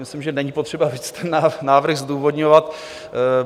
Myslím, že není potřeba více ten návrh zdůvodňovat.